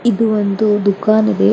ಇದು ಒಂದು ದುಕಾನ್ ಇದೆ.